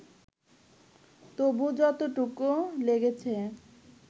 তবু যতটুকু লেগেছে